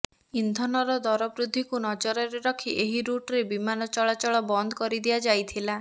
ଇନ୍ଧନର ଦରବୃଦ୍ଧିକୁ ନଜରରେ ରଖି ଏହି ରୁଟ୍ରେ ବିମାନ ଚଳାଚଳ ବନ୍ଦ କରିଦିଆ ଯାଇଥିଲା